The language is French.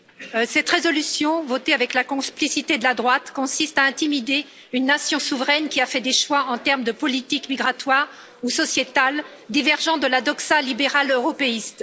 Monsieur le Président, cette résolution, votée avec la complicité de la droite, consiste à intimider une nation souveraine qui a fait des choix, en termes de politique migratoire ou sociétale, divergeant de la doxa libérale européiste.